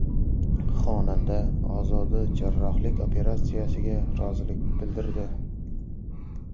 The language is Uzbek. Xonanda Ozoda jarrohlik operatsiyasiga rozilik bildirdi.